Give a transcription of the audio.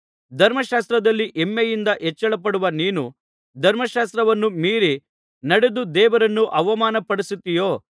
ಧರ್ಮಶಾಸ್ತ್ರದಲ್ಲಿ ಹೆಮ್ಮೆಯಿಂದ ಹೆಚ್ಚಳಪಡುವ ನೀನು ಧರ್ಮಶಾಸ್ತ್ರವನ್ನು ಮೀರಿ ನಡೆದು ದೇವರನ್ನು ಅವಮಾನಪಡಿಸುತ್ತೀಯೋ